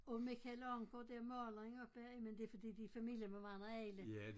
Og Michael Ancher der maleren oppe men det fordi de er i familie med mange og alle